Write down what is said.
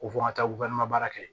Ko fɔ n ka taa baara kɛ